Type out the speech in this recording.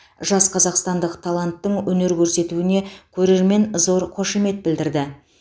жас қазақстандық таланттың өнер көрсетуіне көрермен зор қошемет білдірді